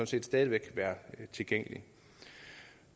set stadig væk være tilgængelige